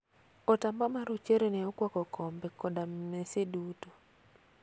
Otamba marochere ne okwako kombe koda mese duto.